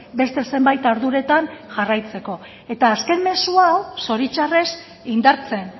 beste zenbait arduretan jarraitzeko eta azken mezu hau zoritxarrez indartzen